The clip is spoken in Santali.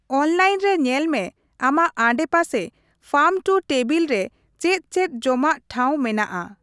ᱚᱱᱞᱟᱭᱤᱱ ᱨᱮ ᱧᱮᱞ ᱢᱮ ᱟᱢᱟᱜ ᱟᱰᱮᱯᱟᱥᱮ ᱯᱷᱟᱢᱼᱴᱩᱼᱴᱮᱵᱤᱞ ᱨᱮ ᱪᱮᱫ ᱪᱮᱫ ᱡᱚᱢᱟᱜ ᱴᱷᱟᱶ ᱢᱮᱱᱟᱜᱼᱟ ᱾